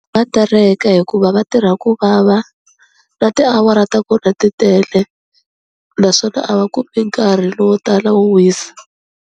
Va tereka hikuva va tirha ku vava na tiawara ta kona ti tele naswona a va kumi nkarhi lowo tala wo wisa.